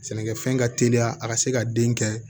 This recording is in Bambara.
Sɛnɛkɛfɛn ka teliya a ka se ka den kɛ